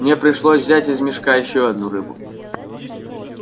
мне пришлось взять из мешка ещё одну рыбу